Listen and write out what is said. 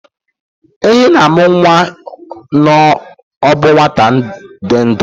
Ehi na-amụ nwa na ọ bụ nwata dị ndụ